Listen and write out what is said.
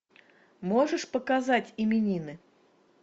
можешь показать именины